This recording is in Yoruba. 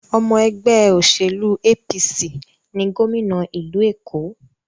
Ọmọ ẹgbẹ́ òṣèlú APC ni gòmìnà ìlú Èkó.